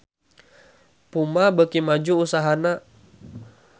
Puma beuki maju usahana